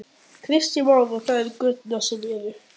Kristján Már: Og það eru göturnar sem eru?